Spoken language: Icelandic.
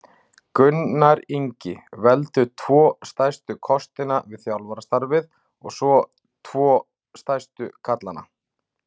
Gunnar Ingi Veldu tvo stærstu kostina við þjálfarastarfið og tvo stærstu gallana?